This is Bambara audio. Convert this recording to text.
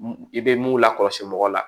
I bɛ mun lakɔlɔsi mɔgɔ la